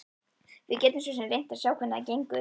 Við getum svo sem reynt að sjá hvernig það gengur.